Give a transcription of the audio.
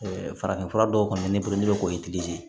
farafin fura dɔw kɔni bɛ ne bolo n'o ye ye